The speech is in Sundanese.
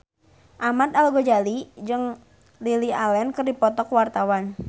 Ahmad Al-Ghazali jeung Lily Allen keur dipoto ku wartawan